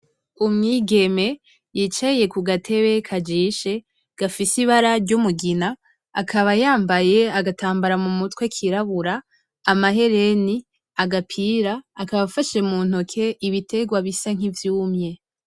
Umwigeme yicaye kugatebe kajishe gafise ibara ryumugina, akaba yambaye agatambara mumutwe kirabura, amahereni , agapira akaba afashe muntoke ibiterwa bisa nkivyumye .